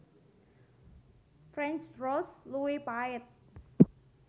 French Roast luwih pahit